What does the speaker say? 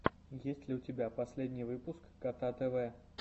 есть ли у тебя последний выпуск кота тв